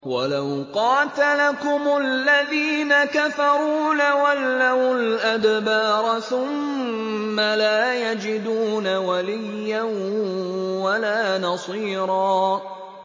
وَلَوْ قَاتَلَكُمُ الَّذِينَ كَفَرُوا لَوَلَّوُا الْأَدْبَارَ ثُمَّ لَا يَجِدُونَ وَلِيًّا وَلَا نَصِيرًا